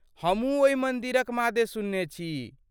हमहूँ ओहि मन्दिरक मादे सुनने छी।